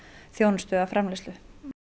þjónustu eða framleiðslu